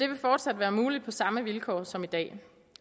det fortsat være muligt på samme vilkår som i dag